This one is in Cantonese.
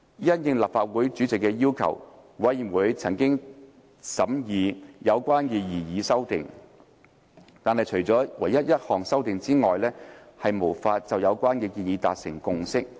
因應立法會主席的要求，委員會曾審議有關的擬議修訂，但除一項修訂外，無法就有關建議達致共識。